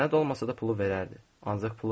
Sənəd olmasa da pulu verərdi, ancaq pulu vermədi.